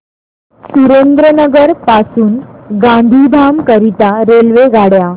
सुरेंद्रनगर पासून गांधीधाम करीता रेल्वेगाड्या